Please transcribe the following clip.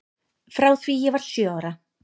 Frá því ég var sjö ára.